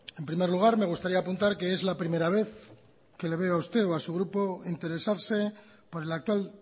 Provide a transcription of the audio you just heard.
en primer lugar me gustaría apuntar que es la primera vez que le veo a usted o a su grupo interesarse por el actual